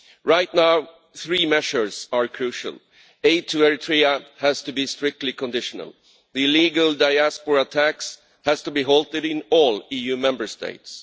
Right now three measures are crucial aid to Eritrea has to be strictly conditional the illegal diaspora tax has to be halted in all EU Member States